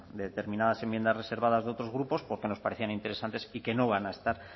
de determinadas enmiendas reservadas de otros grupos porque nos parecían interesantes y que no van a estar